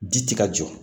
Ji ti ka jɔ